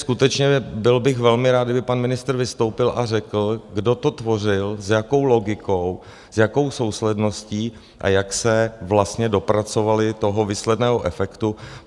Skutečně bych byl velmi rád, kdyby pan ministr vystoupil a řekl, kdo to tvořil, s jakou logikou, s jakou sousledností a jak se vlastně dopracovali toho výsledného efektu?